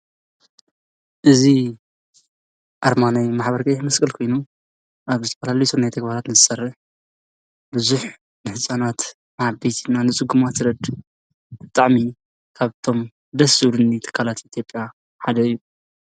እዚ ኣርማ ናይ ማሕበር ቀይሕ መስቀል ኮይኑ ኣብ ዝተፈላለዩ ሰናይ ተግባራት ዝሰርሕ እዙይ እዩ። እዙይ ንህፃናት፣ ንዓበይቲ ወይ ድማ ንፅጉማት ዝረድእ ብጣዕሚ ካብቶም ደስ ዝብሉኒ ትካላት ኢትዮጵያ ሓደ እዩ።